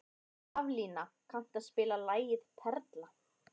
Haflína, kanntu að spila lagið „Perla“?